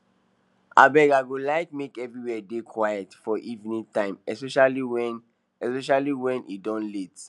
abeg i go like make everywhere dey quiet for evening time especially wen especially wen e don late